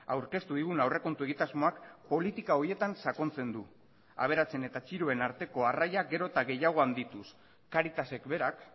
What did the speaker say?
aurkeztu digun aurrekontu egitasmoak politika horietan sakontzen du aberatsen eta txiroen arteko arraiak gero eta gehiago handituz caritasek berak